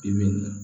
Bi bi in na